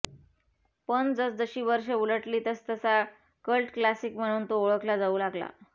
पण जसजशी वर्ष उलटली तसतसा कल्ट क्लासिक म्हणून तो ओळखला जाऊ लागला